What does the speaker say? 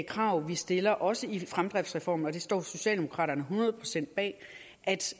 krav vi stiller også i fremdriftsreformen og det står socialdemokraterne hundrede procent bag at